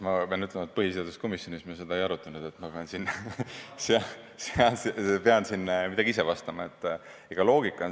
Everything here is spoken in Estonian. Ma pean ütlema, et põhiseaduskomisjonis me seda ei arutanud, ma pean siin midagi ise vastama.